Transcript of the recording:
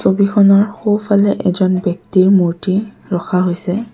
ছবিখনৰ সোঁফালে এজন ব্যক্তিৰ মূৰ্তি ৰখা হৈছে।